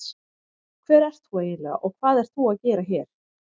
Hver ert þú eiginlega og hvað ert þú að gera hér?